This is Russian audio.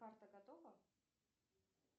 парта готова